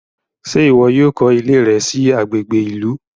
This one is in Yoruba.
Ṣe iwọ yóò kọ iley rẹ sí agbègbè ìlú?